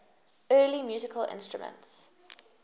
early musical instruments